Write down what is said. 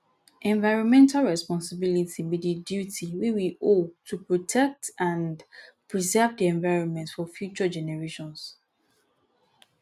environmental responsibility be di duty wey we owe to protect and preserve di environment for future generations